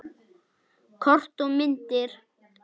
Kort og myndir